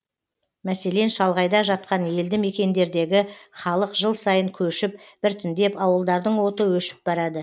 мәселен шалғайда жатқан елді мекендердегі халық жыл сайын көшіп біртіндеп ауылдардың оты өшіп барады